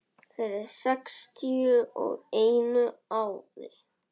Fyrir sextíu og einu ári.